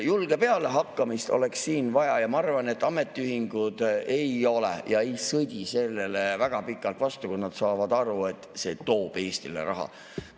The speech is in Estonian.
Julget pealehakkamist oleks siin vaja ja ma arvan, et ametiühingud ei sõdi sellele väga pikalt vastu, kui nad saavad aru, et see toob Eestile raha.